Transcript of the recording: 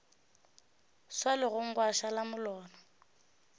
swa legong gwa šala molora